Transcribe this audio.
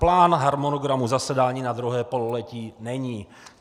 Plán harmonogramu zasedání na druhé pololetí není.